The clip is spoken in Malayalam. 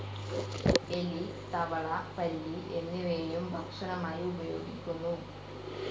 എലി, തവള, പല്ലി, എന്നിവയെയും ഭക്ഷണമായി ഉപയോഗിക്കുന്നു.